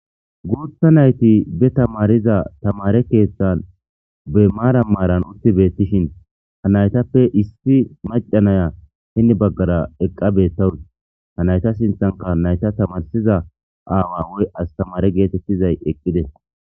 Guutha nayti be tamariza tamare keeththan be maara maaran utti beettishin ha naytappe issi macanaya hinni baggara eqqa bettawu ha nayta sinthanka nayta tamarsiza aawa woy astamare geetettizay eqqide